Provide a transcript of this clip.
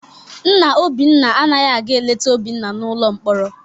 Nna Obinna anaghị aga eleta Obinna n'ụlọ mkpọrọ.